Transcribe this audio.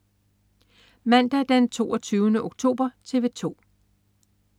Mandag den 22. oktober - TV 2: